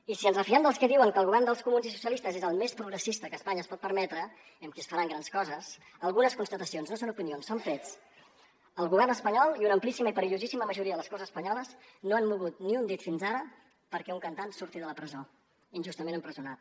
i si ens refiem dels que diuen que el govern dels comuns i socialistes és el més progressista que espanya es pot permetre i amb què es faran grans coses algunes constatacions no són opinions són fets el govern espanyol i una amplíssima i perillosíssima majoria de les corts espanyoles no han mogut ni un dit fins ara perquè un cantant surti de la presó injustament empresonat